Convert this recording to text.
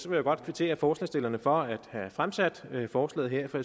vil godt kvittere forslagsstillerne for at have fremsat forslaget her for